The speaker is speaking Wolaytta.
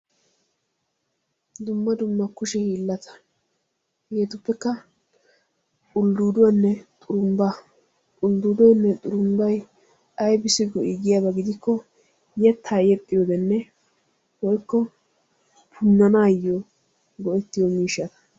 Dumma dumma kushee hiilata, hegetuppekka uldduduwanne xurumbba, ulddudoynne xurumbbay aybbissi go"i giyaaba gidikko yetta yexxiyodenne woykko punanayyo go"ettiyo miishsha.